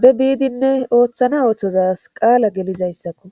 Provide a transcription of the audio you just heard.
be biidinne ooththana ooththozas qaala gelizayssakko